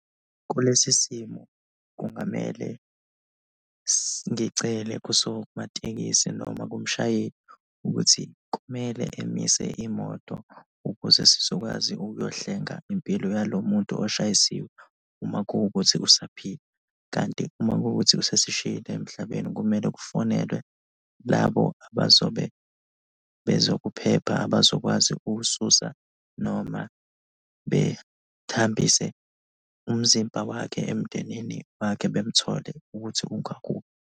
Kulesi simo, kungamele ngicele kusomatekisi noma kumshayeli ukuthi kumele emise imoto ukuze sizokwazi ukuyohlenga impilo yalomuntu oshayisiwe, uma kuwukuthi usaphila kanti uma kuwukuthi osesishiyile emhlabeni, kumele kufonelwe labo abazobe, bezokuphepha abazokwazi ukususa noma behambise umzimba wakhe emndenini wakhe bemthole ukuthi ungakuphi.